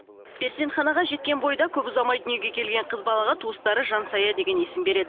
перзентханаға жеткен бойда көп ұзамай дүниеге келген қыз балаға туыстары жансая деген есім береді